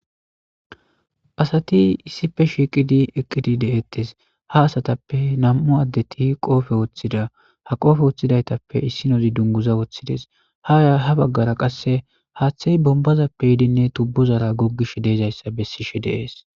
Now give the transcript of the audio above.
Asati issife shiiqidi eqqidi de7ettes ha asatappe nam7u addeti qoofe woththida ha qoofe woththidaytappe issi nozi dunguza woththides haya ha baggara qasse haaththey bombazappe yiidinne tubbuzara goggish deezayssa bessishe deees